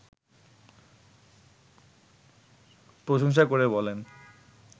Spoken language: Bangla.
প্রশংসা করে বলেন